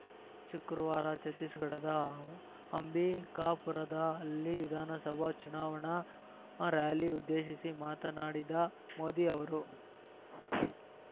ಶುಕ್ರವಾರ ಛತ್ತೀಸ್‌ಗಢದ ಅಂಬಿಕಾಪುರದಲ್ಲಿ ವಿಧಾನಸಭಾ ಚುನಾವಣಾ ರಾಲಿ ಉದ್ದೇಶಿಸಿ ಮಾತನಾಡಿದ ಮೋದಿ ಅವರು